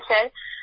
হ্যাঁ স্যার